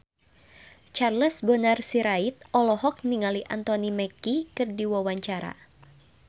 Charles Bonar Sirait olohok ningali Anthony Mackie keur diwawancara